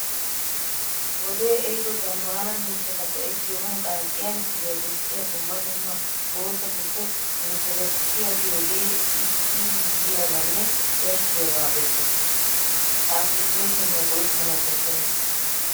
Wodee ehido zammaana mishata goettiyoogan qaaxxiya misiliya bessiya dumma dumma bootatuppe nefelekisiya giyogee iiyiyaabbanne yashshiyabaa besses. Ha appilikeeshiniya go'ettanawu koshshena.